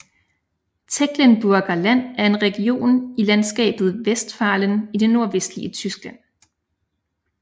Tecklenburger Land er en region i landskabet Westfalen i det nordvestlige Tyskland